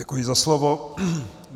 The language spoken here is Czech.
Děkuji za slovo.